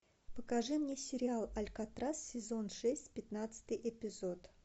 покажи мне сериал алькатрас сезон шесть пятнадцатый эпизод